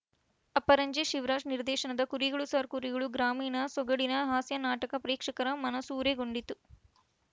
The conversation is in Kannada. ಅಪರಂಜಿ ಶಿವರಾಜ್‌ ನಿರ್ದೇಶನದ ಕುರಿಗಳು ಸಾರ್‌ ಕುರಿಗಳು ಗ್ರಾಮೀಣ ಸೊಗಡಿನ ಹಾಸ್ಯನಾಟಕ ಪ್ರೇಕ್ಷಕರ ಮನಸೂರೆಗೊಂಡಿತು